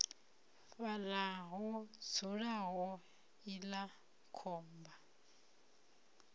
fhaḽa ho dzulaho iḽla khomba